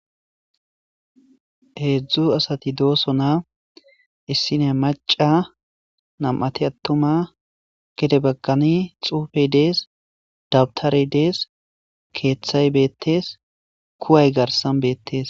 heedzdzu asati doosonaa issiya maca nam7ati attuma gede bagani xuufey dees dabtarey dees keeththay beettees kuway garsan beettees